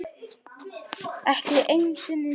Ekki einu sinni þú.